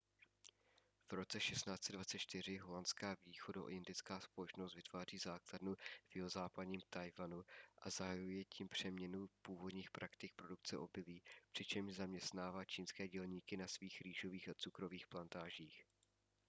v roce 1624 holandská východoindická společnost vytváří základnu v jihozápadním taiwanu a zahajuje tím přeměnu původních praktik produkce obilí přičemž zaměstnává čínské dělníky na svých rýžových a cukrových plantážích